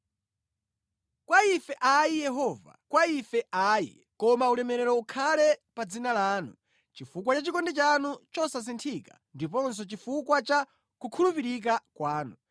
Kwa ife ayi Yehova, kwa ife ayi koma ulemerero ukhale pa dzina lanu, chifukwa cha chikondi chanu chosasinthika ndiponso chifukwa cha kukhulupirika kwanu.